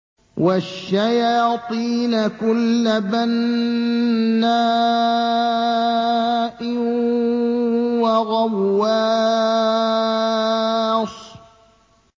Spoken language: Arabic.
وَالشَّيَاطِينَ كُلَّ بَنَّاءٍ وَغَوَّاصٍ